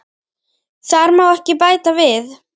Þar má ekki bæta við.